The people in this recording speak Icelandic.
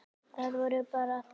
Það voru bara allir.